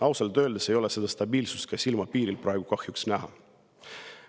Ausalt öeldes ei ole seda stabiilsust ka silmapiiril praegu kahjuks näha.